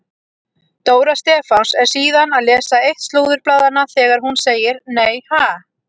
Dóra Stefáns er síðan að lesa eitt slúðurblaðanna þegar hún segir: Nei ha?